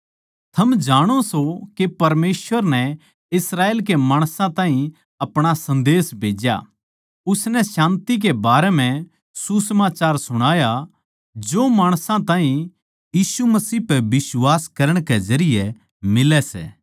योए सै वो संदेश जिस ताहीं उसनै यीशु मसीह के जरिये शान्ति के सुसमाचार का उपदेश देते होए इस्राएल के माणसां ताहीं दिया था वो सारया का प्रभु सै